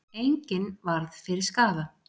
Enginn varð fyrir skaða.